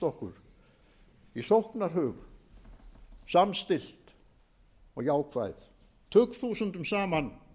okkur í sóknarhug samstillt og jákvæð tugþúsundum saman